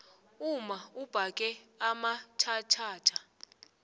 umma ubhage amatjhatjhatjha